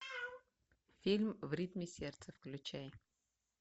фильм в ритме сердца включай